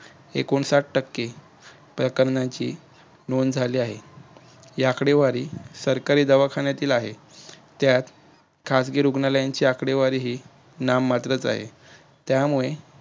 एकूण साठ टक्के प्रकरणांची नोंद झाली आहे. ही आकडेवारी सरकारी दवाखान्यातील आहे त्यात खाजगी रुग्णालयांची आकडेवारी ही नाममात्रच आहे. त्यामुळे,